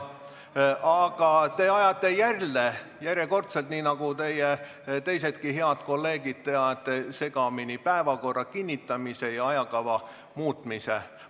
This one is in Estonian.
Aga te ajate jälle, järjekordselt – nii nagu teie teisedki head kolleegid – segamini päevakorra kinnitamise ja ajakava muutmise.